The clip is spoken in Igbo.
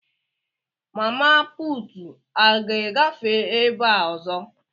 Mama puutu a ga-agafe ebe a ọzọ?